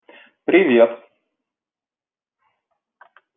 привет